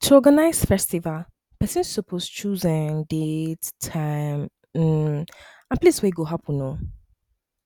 to organize festival pesin suppose choose um date time um and place wey e go happen um